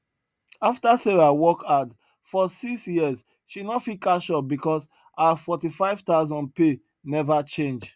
after sarah work hard for six years she no fit catch up because her 45000 pay never change